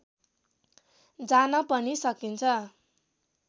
जान पनि सकिन्छ